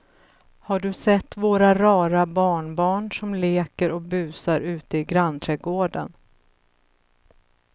Har du sett våra rara barnbarn som leker och busar ute i grannträdgården!